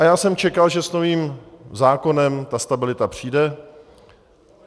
A já jsem čekal, že s novým zákonem ta stabilita přijde.